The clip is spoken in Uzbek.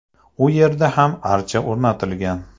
U yerga ham archa o‘rnatilgan.